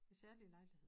Særlige lejligheder